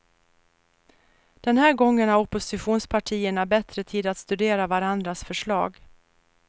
Den här gången har oppositionspartierna bättre tid att studera varandras förslag.